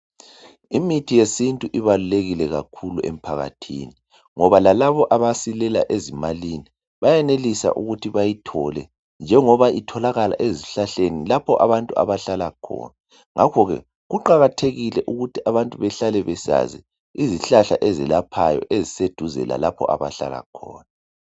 Imithi yesintu ibalulekile kakhulu emphakathini ngoba lalabo abasilela ezimalini, bayenelisa ukuthi bayithole njengoba itholakala ezihlahleni lapho abantu abahlala khona. Ngakho ke, kuqakathekile ukuthi abantu behlale besazi izihlahla ezelaphayo eziseduze lalapho abahlala khona.